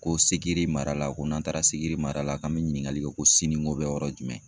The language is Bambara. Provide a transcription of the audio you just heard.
Ko Sikiri mara la , ko n'an taara Sikiri mara la k'an bɛ ɲininkali kɛ ko Sininko bɛ yɔrɔ jumɛn,?